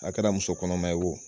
A kɛra muso kɔnɔman ye wo